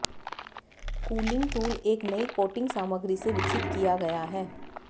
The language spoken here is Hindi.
कूलिंग टूल एक नई कोटिंग सामग्री से विकसित किया गया है